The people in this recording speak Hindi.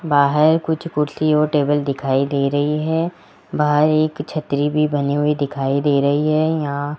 बाहर कुछ कुर्सी और टेबल दिखाई दे रही है बाहर एक छतरी भी बने हुए दिखाई दे रही है यहां --